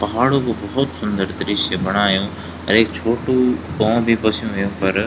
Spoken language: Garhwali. पहाडू कु भोत सुन्दर दृश्य बणायु अर एक छोटू गों भी बस्युं यख पर।